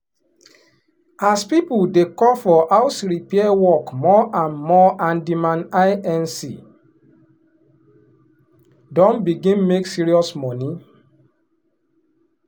as people dey call for house repair work more and more handyman inc. don begin make serious money.